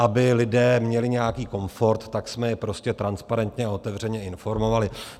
Aby lidé měli nějaký komfort, tak jsme je prostě transparentně a otevřeně informovali.